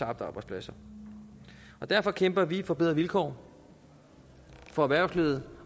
arbejdspladser derfor kæmper vi for bedre vilkår for erhvervslivet